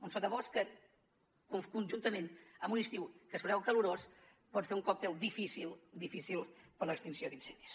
un sotabosc que conjuntament amb un estiu que es preveu calorós pot fer un còctel difícil difícil per a l’extinció d’incendis